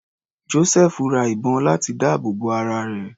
Josẹfu ra ìbọn láti dáàbò bo ara rẹ̀.